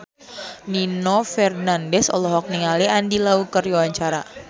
Nino Fernandez olohok ningali Andy Lau keur diwawancara